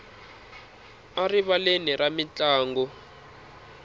erivaleni ra mintlangu